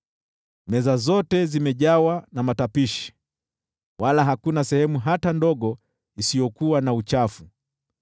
Meza zote zimejawa na matapishi wala hakuna sehemu hata ndogo isiyokuwa na uchafu.